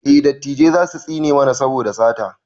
eh dattijai zasu tsine mana saboda sata